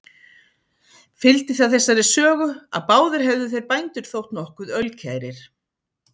Fylgdi það þessari sögu, að báðir hefðu þeir bændur þótt nokkuð ölkærir.